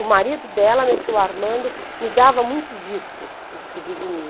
O marido dela, meu tio Armando, me dava muitos discos, discos de vinil.